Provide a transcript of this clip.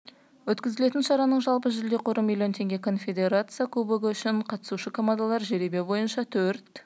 өткізілетін шараның жалпы жүлде қоры миллион теңге конфедерация кубогы үшін қатысушы командалар жеребе бойынша төрт